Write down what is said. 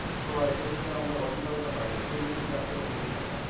তোমার এটা কিন্তু আমরা Orignal টা পাই না chemical জাতীয় মধুটা পাই